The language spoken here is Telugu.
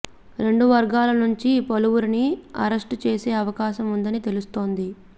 రెండు వర్గాల నుంచి పలువురిని అరెస్ట్ చేసే అవకాశం ఉందని తెలుస్తోంది